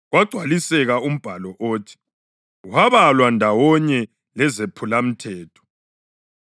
Kwagcwaliseka umbhalo othi, “Wabalwa ndawonye lezephulamthetho.”] + 15.28 Livesi ayikho kwamanye amaBhayibhili esiLungu.